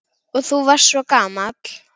Og þú varst svo gamall.